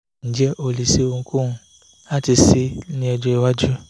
ǹjẹ́ ó lè ṣe ohunkóhun láti ṣe é ní ọjọ́ iwájú?